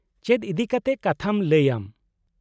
- ᱪᱮᱫ ᱤᱫᱤᱠᱟᱛᱮ ᱠᱟᱛᱷᱟᱢ ᱞᱟᱹᱭᱟ ᱟᱢ ?